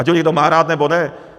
Ať ho někdo má rád, nebo ne.